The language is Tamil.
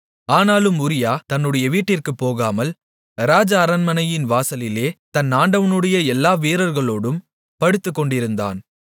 ஆனாலும் உரியா தன்னுடைய வீட்டிற்குப் போகாமல் ராஜ அரண்மனையின் வாசலிலே தன் ஆண்டவனுடைய எல்லா வீரர்களோடும் படுத்துக்கொண்டிருந்தான்